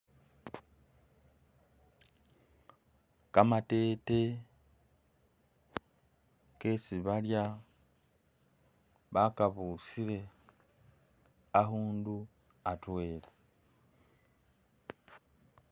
Kamatete kesi balya, bakabusile akhundu atwela.